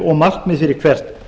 og markmið fyrir hvert